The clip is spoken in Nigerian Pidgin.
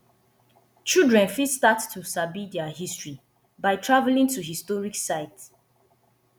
children fit start to dey sabi their history by travelling to historic site